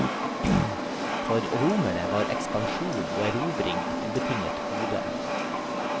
For romerne var ekspansjon og erobring et ubetinget gode.